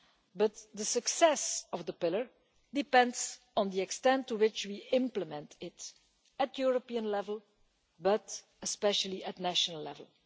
But the success of the pillar depends on the extent to which we implement it at European level, but especially at national level.